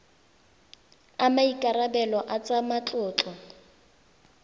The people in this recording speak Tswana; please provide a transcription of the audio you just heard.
a maikarebelo a tsa matlotlo